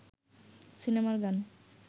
সিনেমার গান